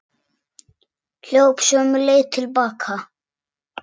Hljóp sömu leið til baka.